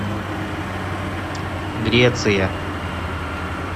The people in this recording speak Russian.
греция